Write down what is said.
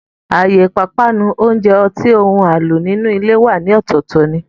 Àyè ìpápánu, oúnjẹ, ọtí, ohun àlò inú ilé wà ní ọ̀tọ̀ọ̀tọ̀ ni